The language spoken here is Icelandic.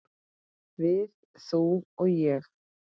Við, þú og ég.